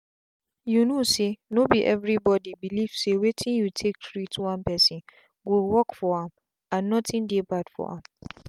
you know sayno be everybody belief say wetin you take treat one person go work for am and nothing dey bad for am.